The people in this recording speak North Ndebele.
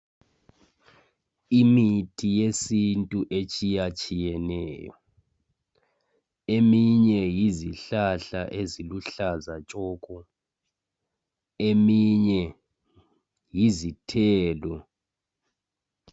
Imithi yesintu etshiyatshiyeneyo eminye yizihlahla eziluhlaza tshoko eminye yizithelo.